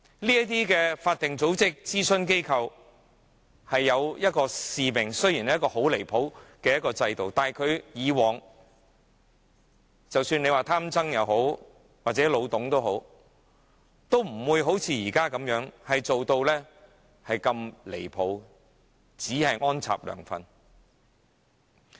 這些法定組織和諮詢機構原本有其使命，雖然在如此過分的制度下，以往即使是"貪曾"或"老董"也好，都不會像現時梁振英般如此過分，只顧安插"梁粉"。